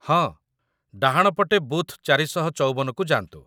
ହଁ, ଡାହାଣ ପଟେ ବୁଥ୍ ୪୫୪କୁ ଯାଆନ୍ତୁ |